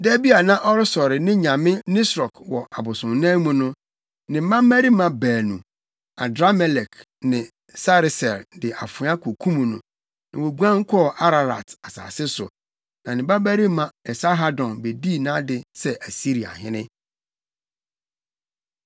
Da bi a na ɔresɔre ne nyame Nisrok wɔ abosonnan mu no, ne mma mmarima baanu, Adramelek ne Sareser de afoa kokum no, na woguan kɔɔ Ararat asase so. Na ne babarima Esarhadon bedii nʼade sɛ Asiriahene.